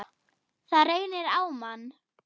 Það reynir á mann!